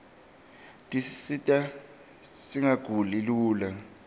tisita singaguli lula